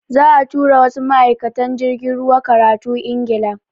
Za'a tura wasu ma'aikatan jirgin ruwa karatu Ingila.